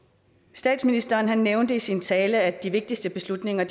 statsministeren nævnte i sin tale at de vigtigste beslutninger